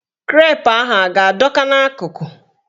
Krep ahụ a ga-adọ ka n'akụkụ?